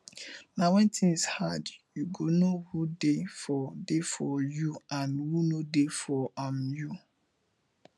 na when things hard youy go know who dey for dey for you and who no dey for um you